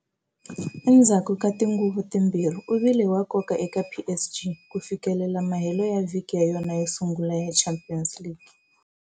Endzhaku ka tinguva timbirhi u vile wa nkoka eka PSG ku fikelela mahelo ya vhiki ya yona yo sungula ya Champions League.